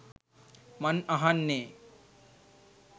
මන් අහන්නේ ?